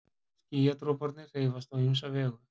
Skýjadroparnir hreyfast á ýmsa vegu.